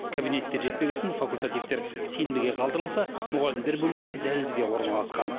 кабинеттер жетпеген соң факультативтер сенбіге қалдырылса мұғалімдер бөлмесі дәлізге орналасқан